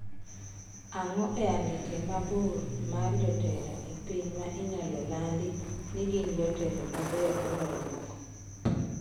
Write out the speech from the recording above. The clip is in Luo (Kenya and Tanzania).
Ang'o e andike mabor mar jotelo e piny ma inyalo landi ni gin jotelo mabeyo moloyo moko.